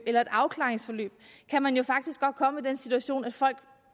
eller afklaringsforløb kan man jo faktisk godt komme i den situation at folk